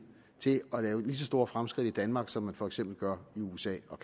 til at lave lige så store fremskridt i danmark som man for eksempel gør i usa og